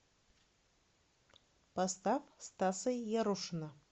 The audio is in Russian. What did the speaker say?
поставь стаса ярушина